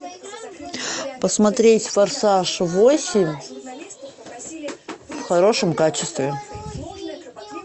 посмотреть форсаж восемь в хорошем качестве